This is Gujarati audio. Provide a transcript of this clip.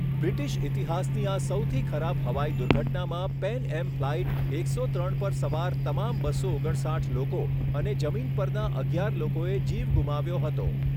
બ્રિટિશ ઇતિહાસની આ સૌથી ખરાબ હવાઈ દુર્ઘટનામાં પેન એમ ફ્લાઇટ એકસો ત્રણ પર સવાર તમામ બસો ઓગણસાઠ લોકો અને જમીન પરના અગિયાર લોકોએ જીવ ગુમાવ્યો હતો.